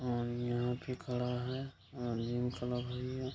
और यहाँ पे खड़ा है --